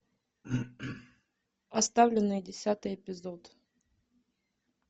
оставленные десятый эпизод